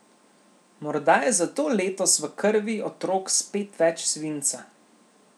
Morda je zato letos v krvi otrok spet več svinca.